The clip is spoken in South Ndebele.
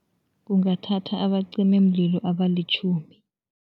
Kungathatha abacimimlilo abalitjhumi.